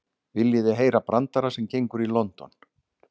Viljiði heyra brandara sem gengur í London?